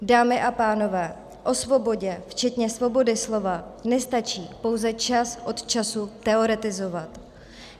Dámy a pánové, o svobodě včetně svobody slova nestačí pouze čas od času teoretizovat.